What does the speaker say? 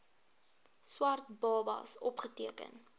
swart babas opgeteken